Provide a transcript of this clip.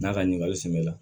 N'a ka ɲininkali semɛ la